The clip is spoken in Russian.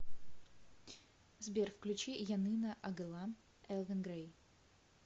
сбер включи янына агылам элвин грэй